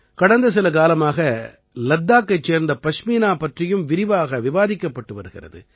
கடந்த சில காலமாக லத்தாக்கைச் சேர்ந்த பஷ்மீனா பற்றியும் விரிவாக விவாதிக்கப்பட்டு வருகிறது